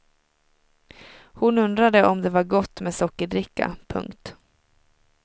Hon undrade om det var gott med sockerdricka. punkt